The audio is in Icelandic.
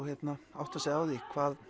átta sig á því